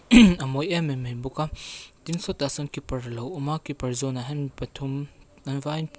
a mawi em em mai bawk a tin sawtah sawn keeper a lo awm a keeper zawnah hian pathum an vaiin--